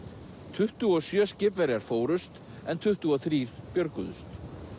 tuttugu og sjö skipverjar fórust en tuttugu og þrír björguðust